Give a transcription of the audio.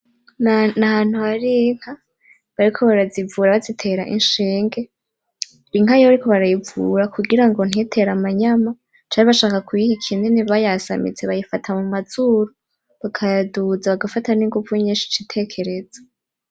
N'ahantu hari inka bariko barazivura bazitera ishinge, inka iyo bariko barayivura kugira ngo ntitere amanyama canke bashaka kuyiha ikinini bayasamitse bayifata mumazuru ukayaduza ugafata n'inguvu nyinshi ici tekereza.